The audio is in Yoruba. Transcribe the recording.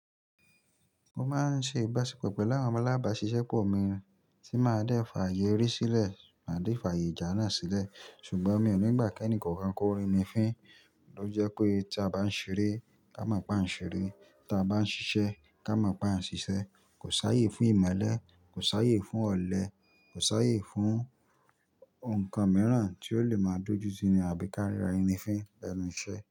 Mo máa ń ṣe ìbáṣepọ̀ pẹ̀lú àwọn alábà ṣíṣẹ́ pọ̀ mìí tí máa dé fi ayè ere sílẹ̀, máa dé fi aye ìjà náà sílẹ̀. Ṣùgbọ́n mi ò ní gbà kí ẹnì kookan kó ri mi fín, ló jẹ pé tí a bá ń ṣeré, ká mọ̀ pé à ń ṣeré. Tí a bá ń ṣiṣẹ́, ká mọ̀ pé à ń ṣiṣẹ́. Kò sáyé fún ìmelẹ̀, kò sáyé fún ọ̀lẹ, kò sáyé fún nǹkan mìíràn tí ó lè máa dojú tí ni àbí ká ríra ẹni fín lẹ́nu iṣẹ́.